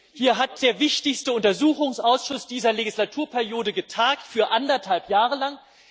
Nun hat der wichtigste Untersuchungsausschuss dieser Legislaturperiode getagt für anderthalb Jahre lang.